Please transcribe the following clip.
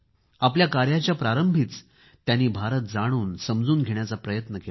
आपल्या कार्याच्या प्रारंभीच त्यांनी भारत जाणून समजून घेण्याचा प्रयत्न केला